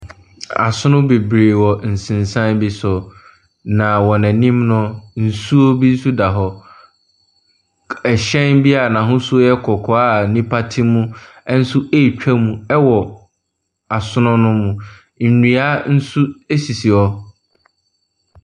Asono bebree wɔ nsensan bi so, na wɔn anim no, nsuo bi nsuo bi nso da hɔ. Hyɛn a n’ahosuo yɛ kɔkɔɔ a nnipa te mu nso ɛretwa mu ɛwɔ asono no mu. Nnua bi nso asisi hɔ.